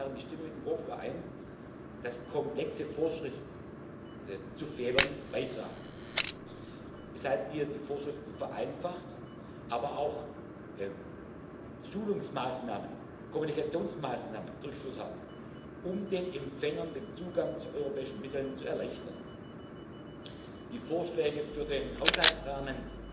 Ich stimme mit dem Hof überein, dass komplexe Vorschriften zu Fehlern beitragen, weshalb wir die Vorschriften vereinfacht, aber auch Schulungsmaßnahmen, Kommunikationsmaßnahmen durchgeführt haben, um den Empfängern den Zugang zu europäischen Mitteln zu erleichtern. Die Vorschläge für den Haushaltsrahmen